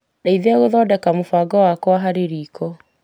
Ndeithia gũthodeka mũbango wakwa wa riko.